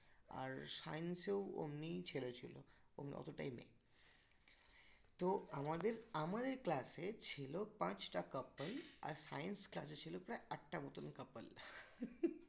আর science এর অমনিই ছেলে ছিলো ওমনি অতটাই মেয়ে তো আমাদের আমার class এ ছিল পাঁচটা couple আর science class এ ছিল প্রায় আটটা মতন couple